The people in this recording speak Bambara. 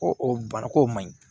Ko o baara ko man ɲi